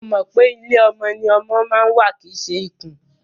Mo mọ̀ pé ilé ọmọ ni ọmọ ma ń wà kìí ṣe ikùn.